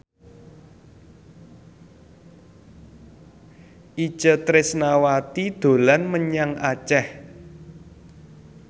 Itje Tresnawati dolan menyang Aceh